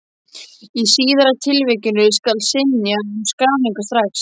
Í síðari tilvikinu skal synja um skráningu strax.